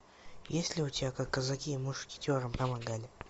есть ли у тебя как казаки мушкетерам помогали